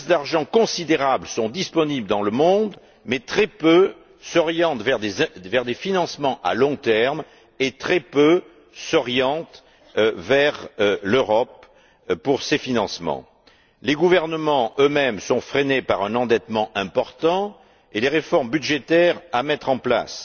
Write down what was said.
Des masses d'argent considérables sont disponibles dans le monde, mais très peu s'orientent vers des financements à long terme et très peu s'orientent vers l'Europe pour ces financements. Les gouvernements, eux mêmes, sont freinés par un endettement important et les réformes budgétaires à mettre en place.